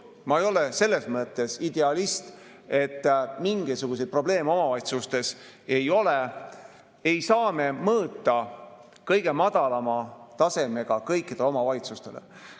Ma ei ole selles mõttes idealist, et mingisuguseid probleeme omavalitsustes ei ole, aga ei saa me mõõta kõige madalama taseme järgi kõikidele omavalitsustele.